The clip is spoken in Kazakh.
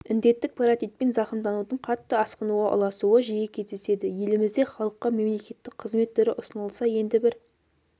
індеттік паротитпен зақымданудың қатты асқынуға ұласуы жиі кездеседі елімізде халыққа мемлекеттік қызмет түрі ұсынылса енді бір